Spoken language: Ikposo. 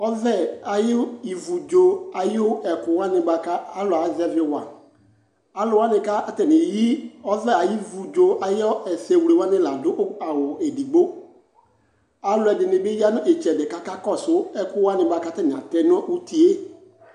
Ɔvɛ ayu ivudzo ayu ɛkuwani bua ku alu azɛviwa Alu wani ka atani yi ɔvɛ ayu ivudzo ayu ɛsɛwlewani la du awu edigbo Alu ɛdini bi ya nu itsɛdi ku akakɔsu ɛku wani bua ku atani atɛ nu uti yɛ